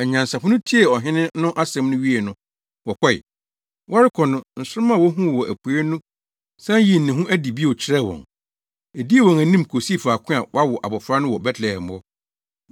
Anyansafo no tiee ɔhene no asɛm no wiei no, wɔkɔe. Wɔrekɔ no, nsoromma a wohuu wɔ apuei no san yii ne ho adi bio kyerɛɛ wɔn. Edii wɔn anim kosii faako a wɔawo abofra no wɔ Betlehem hɔ.